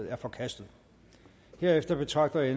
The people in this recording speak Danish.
er forkastet herefter betragter jeg